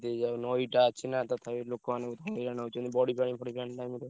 ହେଇଯାଉ ନଈ ଟା ଅଛି ନା ତଥାପି ଲୋକମାନେ ହଇରାଣ ହଉଛନ୍ତି ବଢିପାଣି ଫଢିପାଣି time ରେ।